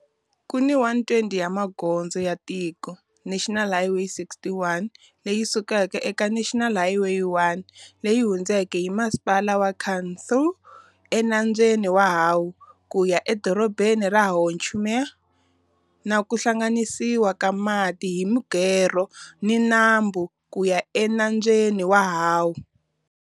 Ku ni 120 km ya magondzo ya tiko-National Highway 61, leyi sukaka eka National Highway 1, leyi hundzaka hi Masipala wa Cần Thơ eNambyeni wa Hậu ku ya eDorobeni ra Ho Chi Minh, na ku hlanganisiwa ka mati hi mugerho na nambu ku ya eNambyeni wa Hậu.